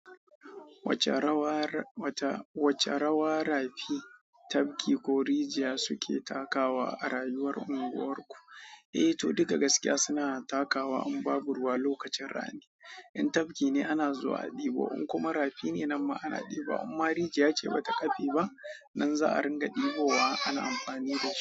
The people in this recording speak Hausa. Wace rawa rafi, tabki ko rijiya suke takawa a rayuwar unguwar ku. Eh to, duka gaskiya suna takawa in babu ruwa lokacin rani. In tafki ne ana zuwa a ɗebo, in kuma rafi ne nan ma ana ɗibawa. Imma rijiya ce ba ta ƙafe ba nan za a ringa debowa ana amfani da wata.